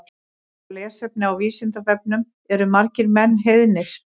Frekara lesefni á Vísindavefnum Eru margir menn heiðnir?